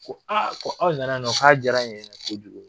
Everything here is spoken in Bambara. Ko aa ko aw nana yan nɔ k'a diyara in yɛrɛ n ye kojugu